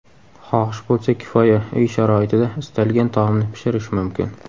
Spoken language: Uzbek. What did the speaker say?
Xohish bo‘lsa kifoya, uy sharoitida istalgan taomni pishirish mumkin.